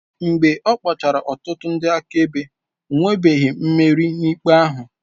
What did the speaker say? Mgbe ọ kpọchara ọtụtụ ndị akaebe, o nwebeghị mmeri n'ikpe ahụ.